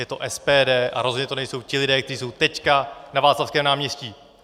Je to SPD a rozhodně to nejsou ti lidé, kteří jsou teď na Václavském náměstí.